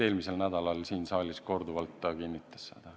Eelmisel nädalal siin saalis ta korduvalt kinnitas seda.